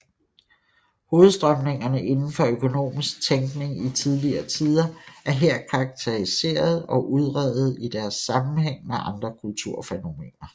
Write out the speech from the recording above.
Hovedstrømningerne inden for økonomisk tænkning i tidligere tider er her karakteriserede og udredede i deres sammenhæng med andre kulturfænomener